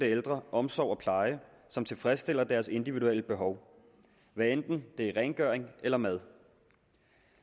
ældre omsorg og pleje som tilfredsstiller deres individuelle behov hvad enten det er rengøring eller mad